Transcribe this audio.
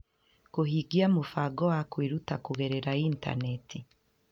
Kũhingia mũbango wa kwĩruta kũgerera Intaneti